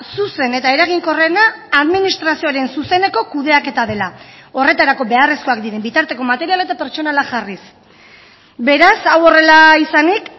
zuzen eta eraginkorrena administrazioaren zuzeneko kudeaketa dela horretarako beharrezkoak diren bitarteko material eta pertsonala jarriz beraz hau horrela izanik